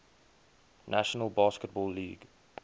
national basketball league